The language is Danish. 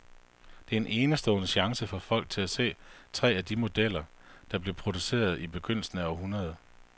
Det er en enestående chance for folk til at se tre af de modeller, der blev produceret i begyndelsen af århundredet.